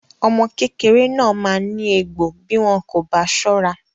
Omo kékeré náà maa ní egbò bí wọn kò bá sọ́ra.